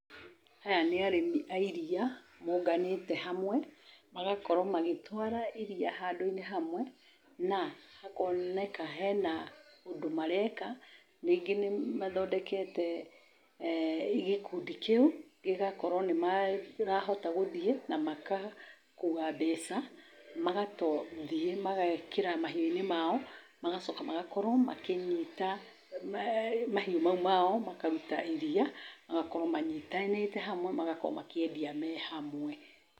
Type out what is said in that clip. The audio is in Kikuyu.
Aya nĩ arĩmi a iria maũnganĩte hamwe, magakorwo magĩtwara iria handũ-inĩ hamwe na hakoneka hena ũndũ mareka. Rĩngĩ nĩ mathondekete gĩkundi kĩu gĩgakorwo nĩ marahota gũthiĩ na makakua mbeca, magathiĩ mageekĩra mahiũ-nĩ mao, magacoka magakorwo makĩnyita mahiũ mau mao makaruta iria. Magakorwo manyitanĩte hamwe, magakorwo makĩendia me hamwe.